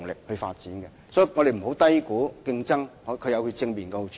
因此，我們不要低估競爭的正面好處。